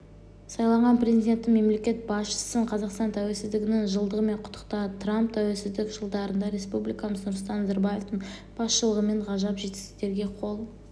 сайланған президенті мемлекет басшысын қазақстан тәуелсіздігінің жылдығымен құттықтады трамп тәуелсіздік жылдарында республикамыз нұрсұлтан назарбаевтың басшылығымен ғажап жетістіктерге қол